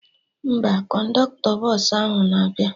Mba, kọndọktọ bọsụ ahụ na-abịa